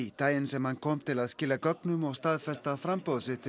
daginn sem hann kom til að skila gögnum og staðfesta framboð sitt til